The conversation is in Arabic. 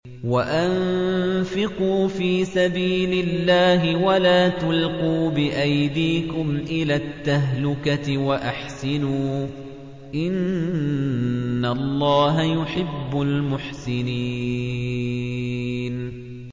وَأَنفِقُوا فِي سَبِيلِ اللَّهِ وَلَا تُلْقُوا بِأَيْدِيكُمْ إِلَى التَّهْلُكَةِ ۛ وَأَحْسِنُوا ۛ إِنَّ اللَّهَ يُحِبُّ الْمُحْسِنِينَ